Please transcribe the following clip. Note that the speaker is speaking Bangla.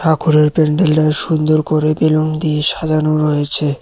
ঠাকুরের প্যান্ডেলটা সুন্দর করে বেলুন দিয়ে সাজানো রয়েছে।